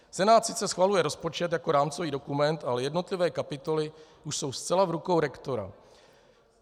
Senát sice schvaluje rozpočet jako rámcový dokument, ale jednotlivé kapitoly už jsou zcela v rukou rektora.